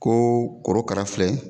Koo korokara filɛ